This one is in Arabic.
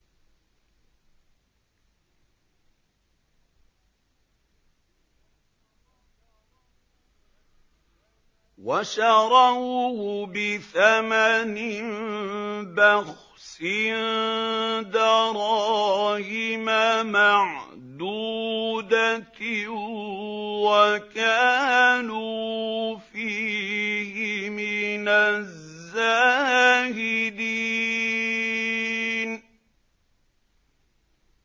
وَشَرَوْهُ بِثَمَنٍ بَخْسٍ دَرَاهِمَ مَعْدُودَةٍ وَكَانُوا فِيهِ مِنَ الزَّاهِدِينَ